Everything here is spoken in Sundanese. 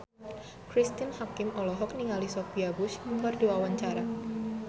Cristine Hakim olohok ningali Sophia Bush keur diwawancara